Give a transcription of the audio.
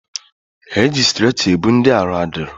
Eji strecha ebu ndị arụ adịrọ